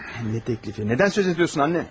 Nə təklifi, nədən söz edirsən, ana?